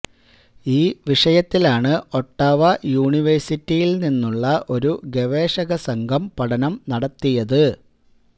ഈ വിഷയത്തിലാണ് ഒട്ടാവ യൂണിവേഴ്സിറ്റിയില് നിന്നുള്ള ഒരു ഗവേഷകസംഘം പഠനം നടത്തിയത്